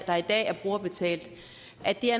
der i dag er brugerbetalt